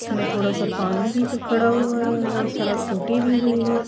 اسمے تھودا سا پانی بھی کھڈا ہوا ہے اور سڈک ٹوٹی بھی ہوئی ہے۔